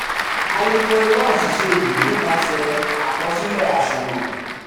a lè mọ irú aṣìṣe yìí nípasẹ̀ àkọsílẹ aṣunwon. um